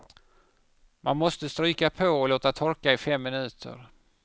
Man måste stryka på och låta torka i fem minuter.